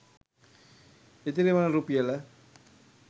ඉතිරි වන රුපියල